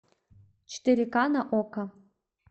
четыре ка на окко